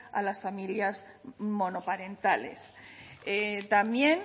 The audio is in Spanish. a las familias monoparentales también